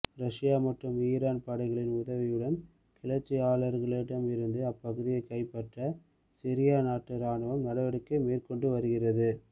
Russia மற்றும் Iran படைகளின் உதவியுடன் கிளர்ச்சியாளர்களிடமிருந்து அப்பகுதியைக் கைப்பற்ற சிரியா நாட்டு ராணுவம் நடவடிக்கை மேற்கொண்டு வருகிறது